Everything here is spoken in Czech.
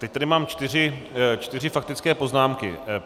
Teď tady mám čtyři faktické poznámky.